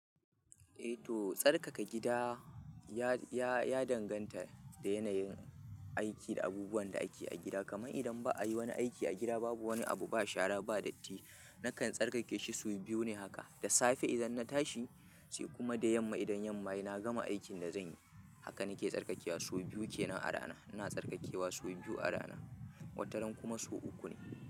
Eh to tsarkaka gida ya, ya, ya danganta da yanayin aiki da abubuwan da ake a gida. Kamar idan ba a yi wani aiki a gida babu wani abu ba shara ba datti na kan tsarkake shi sau biyu ne haka. Da safe idan na tashi sai kuma da yamma idan yamma yana gama aikin da zan yi. Haka nake tsarkakewa sau biyu ke nan rana. Ina tsarkakewa sau biyu a rana, wata ran kuma sau uku ne.